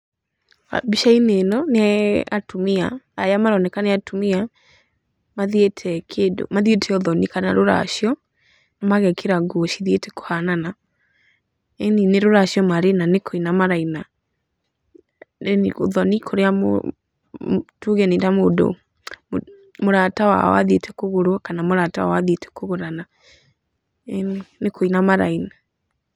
Mbica-inĩ ĩno nĩ atumia, arĩa maroneka nĩ atumia, mathiĩte ũthoni kana rũracio magekĩra nguo cithiĩte kũhanana. Eni nĩ rũracio marĩ na nĩ kũina maraina ũthoni, tuge nĩ ta mũndũ, mũrata wao athiĩte kũgũrwo kana mũrata wao athiĩte kũgũrana, eeni, nĩ kũina maraina.